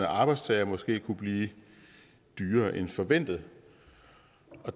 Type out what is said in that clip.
arbejdstagere måske kunne blive dyrere end forventet